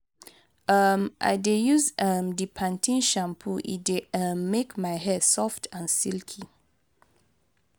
um i dey use um di pan ten e shampoo e dey um make my hair soft and silky.